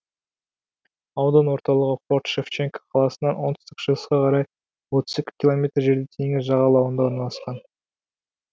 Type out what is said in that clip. аудан орталығы форт шевченко қаласынан оңтүстік шығысқа қарай отыз екі километр жерде теңіз жағалауында орналасқан